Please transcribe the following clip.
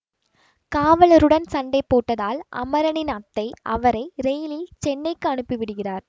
காவலருடன் சண்டை போட்டதால் அமரனின் அத்தை அவரை ரெயிலில் சென்னைக்கு அனுப்பி விடுகிறார்